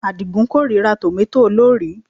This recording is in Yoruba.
Àdìgún kórìíra tòmátò olórìí